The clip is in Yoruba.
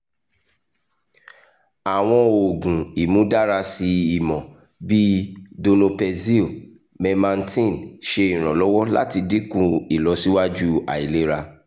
awọn oogun imudarasi imọ bii donepezil memantin ṣe iranlọwọ lati dinku ilọsiwaju ailera